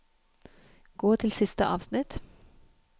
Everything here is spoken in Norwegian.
Gå til siste avsnitt